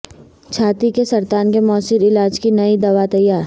چھاتی کے سرطان کے موثر علاج کی نئی دوا تیار